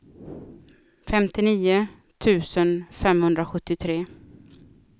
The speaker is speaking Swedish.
femtionio tusen femhundrasjuttiotre